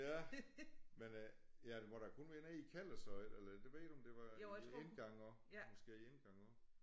Ja men øh ja det må da kun være nede i kælder så eller det ved du om det var indgang også måske indgang også